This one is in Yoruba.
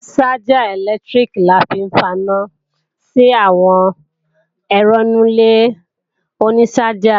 Ṣájà ẹ̀lẹ́tíríkì la fi ń faná sí àwọn ẹ̀rọ inú ilé oní ṣájà